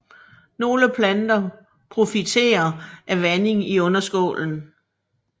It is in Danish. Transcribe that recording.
Nogle planter profiterer af vanding i underskålen